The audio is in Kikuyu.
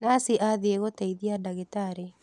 Nathi athiĩgũteithia dagĩtarĩ.